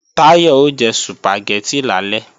Táyọ̀ o jẹ Sùpàgẹ́tì lálẹ́